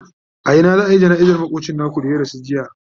a Ina za'ayi jana'izar makocin naku da ya rasu jiya?